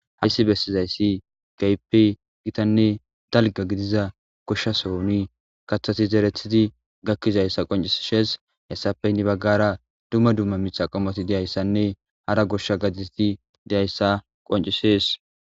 Hayssi bessiyasi keehippe gitanne dalgga gidiza goshsha sohon kaththati zeretidi gakizayssa qonccissesi. Hessappe heni baggara dumma dumma miththa qommoti de'iyssanne hara goshsha gadeti deyiyssa qonccisses.